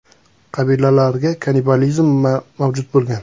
Qabilalarga kannibalizm mavjud bo‘lgan.